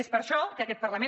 és per això que aquest parlament